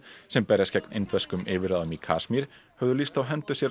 sem berjast gegn indverskum yfirráðum í Kasmír höfðu lýst á hendur sér